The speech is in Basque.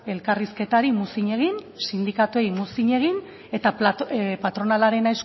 elkarrizketari muzin egin sindikatuei muzin egin eta patronalaren